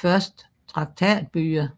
første traktatbyer